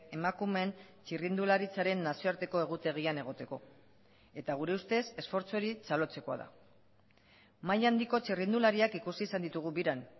emakumeen txirrindularitzaren nazioarteko egutegian egoteko eta gure ustez esfortzu hori txalotzekoa da maila handiko txirrindulariak ikusi izan ditugu biran